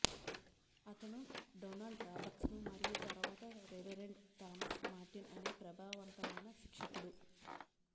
అతను Donald Robertson మరియు తరువాత రెవెరెండ్ థామస్ మార్టిన్ అనే ప్రభావవంతమైన శిక్షకుడు